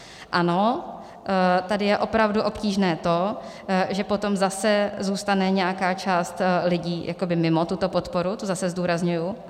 Ano, tady je opravdu obtížné to, že potom zase zůstane nějaká část lidí mimo tuto podporu, to zase zdůrazňuji.